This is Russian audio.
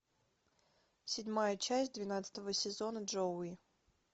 седьмая часть двенадцатого сезона джоуи